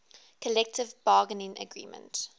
collective bargaining agreement